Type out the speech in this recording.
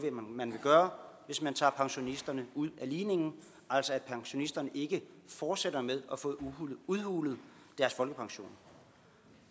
man vil gøre hvis man tager pensionisterne ud af ligningen altså at pensionisterne ikke fortsætter med at få udhulet deres folkepension